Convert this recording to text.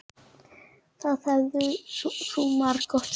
Það hefur þú margoft sagt.